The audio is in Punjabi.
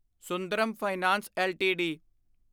Sundaram finance LTD